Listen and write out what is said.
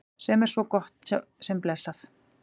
Sem er svo sem gott og blessað.